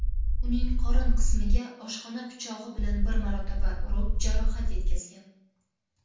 uning qorin qismiga oshxona pichog‘i bilan bir marotaba urib jarohat yetkazgan.